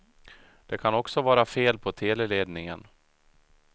Det kan också vara fel på teleledningen.